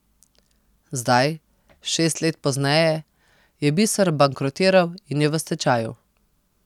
Zdaj, šest let pozneje, je biser bankrotiral in je v stečaju.